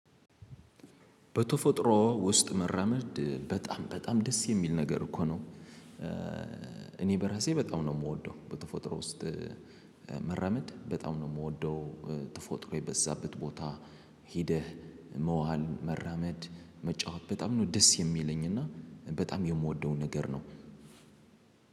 በተፈጥሮ ውስጥ መራመድ በጣም በጣም ደስ የሚል ነገር እኮ ነው። እኔ በራሴ በጣም ነው የምወደው በጥፎ ጥሮ ውስጥ። መረመድ በጣም ነው የምወደው። ጥፎ ጥሮ በዛበት ቦታ ሂደህ መዋል መራመድ መጫወት በጣም ነው ደስ የሚለኝ እና በጣም የምወደው ነገር ነው።